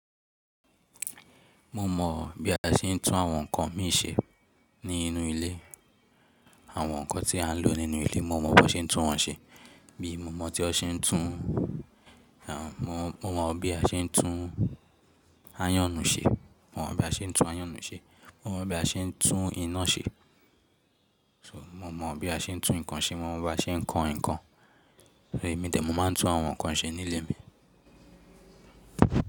Mo mọ̀ bí a ṣe ń tún àwọn nǹkan mí ṣe ní inú ilé. Àwọn nǹkan tí a ń lò nínú ilé mo mọ̀ bí wọ́n ṣe ń tún wọ́n ṣe. Bí mo mọ̀ tí ó ṣe ń tún, mo mọ̀ bí a ṣe ń tún iron nu ṣe. Mo mọ̀ bí a ṣe ń tún iná ṣe. So mo mọ̀ bí a ṣe ń tún nǹkan ṣe. Mo mọ̀ bí a ṣe ń kòn nǹkan. Èmí dẹ̀ mó máa ń tún àwọn nǹkan yì ṣe ní ilé mi.